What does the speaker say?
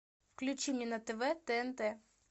включи мне на тв тнт